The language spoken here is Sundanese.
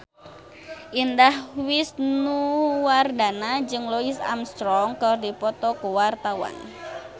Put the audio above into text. Indah Wisnuwardana jeung Louis Armstrong keur dipoto ku wartawan